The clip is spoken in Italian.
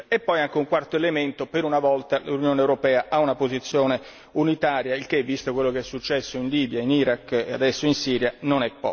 E poi, anche un quarto elemento, per una volta l'Unione europea ha una posizione unitaria, il che visto quello che è successo in Libia, in Iraq e adesso in Siria, non è poco.